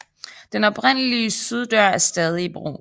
Den oprindelige syddør er stadig i brug